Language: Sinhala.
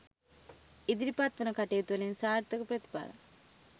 ඉදිරිපත් වන කටයුතුවලින් සාර්ථක ප්‍රතිඵල